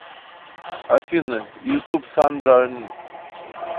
афина ютуб сандра эн